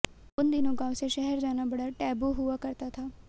उन दिनों गांव से शहर जाना बड़ा टैबू हुआ करता था